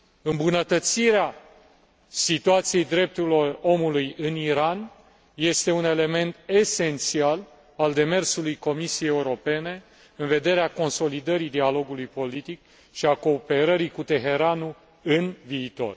Îmbunătățirea situației drepturilor omului în Iran este un element esențial al demersului Comisiei Europene în vederea consolidării dialogului politic și a cooperării cu Teheranul în viitor.